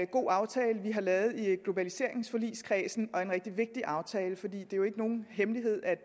god aftale vi har lavet i globaliseringsforligskredsen og en rigtig vigtig aftale for det er jo ikke nogen hemmelighed at